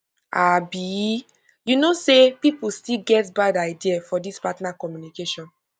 abi you know say people still get bad idea for this partner communication